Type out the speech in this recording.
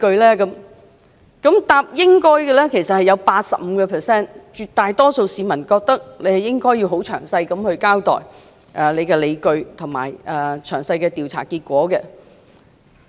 "認為"應該"的人佔 85%， 即絕大多數市民認為司長應該詳細交代所持理據和詳細的調查結果。